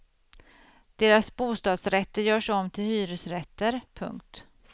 Deras bostadsrätter görs om till hyresrätter. punkt